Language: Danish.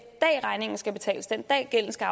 dag regningen skal betales den dag gælden skal